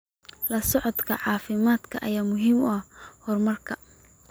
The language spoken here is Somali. La socodka caafimaadka ayaa muhiim u ah horumarka.